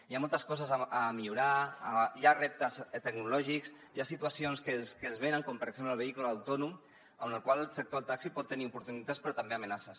hi ha moltes coses a millorar hi ha reptes tecnològics hi ha situacions que venen com per exemple el vehicle autònom amb el qual el sector del taxi pot tenir oportunitats però també amenaces